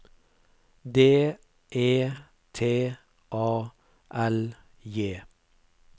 D E T A L J